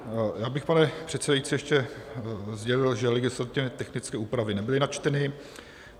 Já bych, pane předsedající, ještě sdělil, že legislativně technické úpravy nebyly načteny.